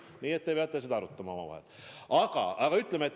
Nii et te peate seda omavahel arutama.